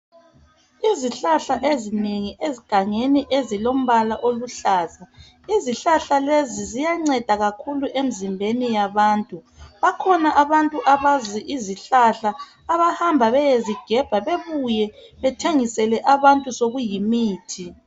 Izihlahla ezinengi esgangeni ezilombala oluhlaza izihlahla lezi ziyangcesa kakhulu emizimbeni yabantu bakhona abantu abakwazi izihlahla abahamba beyezigebha bebuye bethengisele abantu sokuyimithi